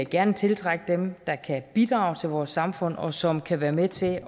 gerne tiltrække dem der kan bidrage til vores samfund og som kan være med til